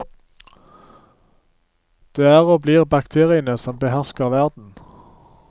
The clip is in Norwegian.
Det er og blir bakteriene som behersker verden.